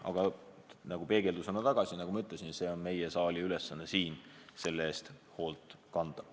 Aga peegeldusena tagasi: nagu ma ütlesin, on meie saali ülesanne selle eest hoolt kanda.